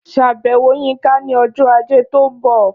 Ṣàbẹ̀wò Yínká ní ọjọ́ Ajé tó ń bọ̀